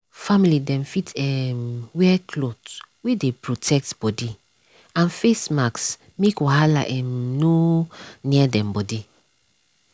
family dem fit um wear cloth wey dey protect body and face mask make wahala um nor near dem body.